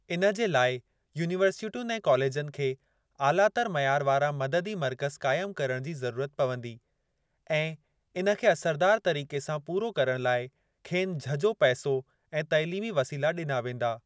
इन जे लाइ यूनीवर्सिटियुनि ऐं कॉलेजनि खे आलातर मयार वारा मददी मर्कज़ काइमु करण जी ज़रूरत पवंदी ऐं इन खे असरदार तरीक़े सां पूरो करण लाइ खेनि झझो पैसो ऐं तइलीमी वसीला डि॒ना वेंदा।